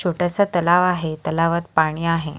छोटासा तलाव आहे तलावात पाणी आहे.